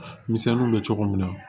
Misɛnninw bɛ cogo min na